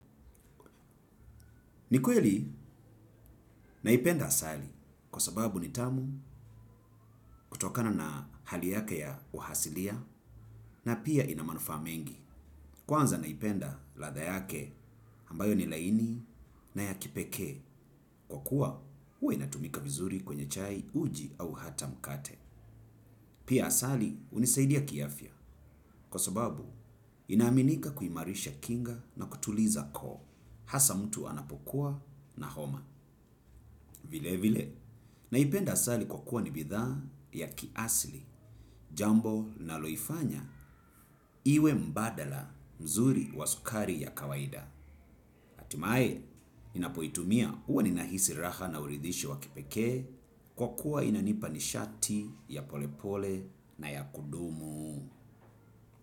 Ni kweli naipenda asali kwa sababu ni tamu kutokana na hali yake ya uasilia na pia ina manufaa mengi. Kwanza naipenda ladha yake ambayo ni laini na ya kipeke kwa kuwa huwa inatumika vizuri kwenye chai uji au hata mkate. Pia asali hunisaidia kiafya kwa sababu inaaminika kuimarisha kinga na kutuliza koo hasa mtu anapokuwa na homa. Vilevile, naipenda asali kwa kuwa ni bidhaa ya kiasili, jambo linaloifanya iwe mbadala mzuri wa sukari ya kawaida. Hatimaye, ninapoitumia huwa ninahisi raha na uridhisho wa kipekee kwa kuwa inanipa nishati ya polepole na ya kudumu.